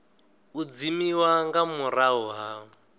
u dzimiwa nga murahu ha